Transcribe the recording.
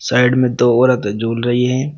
Side में दो औरत झूल रही है।